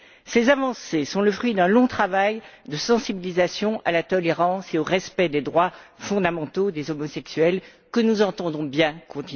Ces avancées sont le fruit d'un long travail de sensibilisation à la tolérance et au respect des droits fondamentaux des homosexuels que nous entendons bien poursuivre.